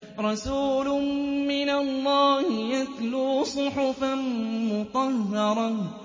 رَسُولٌ مِّنَ اللَّهِ يَتْلُو صُحُفًا مُّطَهَّرَةً